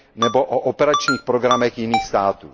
nebo o operačních programech jiných států.